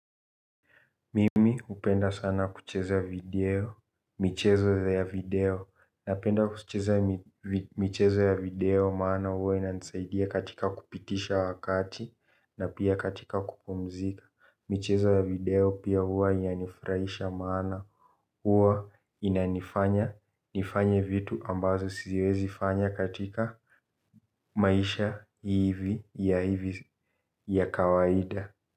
Mimi, hupenda sana kucheza video. Michezo ya video, napenda kucheza. Michezo ya video maana huwa inansaidia katika kupitisha wakati na pia katika kupumzika. Michezo ya video pia huwa inanifurahisha maana, huwa inanifanya, nifanye vitu ambazo siwezi fanya katika, maisha hivi ya hivi ya kawaida.